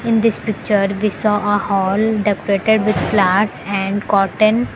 in this picture we saw a hall decorated with flowers and curtain.